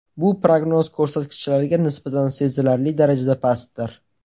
Bu prognoz ko‘rsatkichlariga nisbatan sezilarli darajada pastdir.